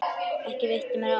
Ekki veitti mér af.